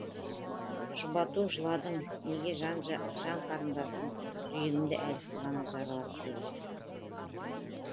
жұбату жыладың неге жан қарындасым жүрегімді әлсіз жаралап тегі